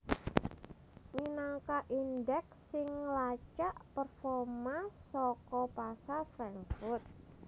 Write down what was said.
minangka indeks sing nglacak performa saka pasar Frankfurt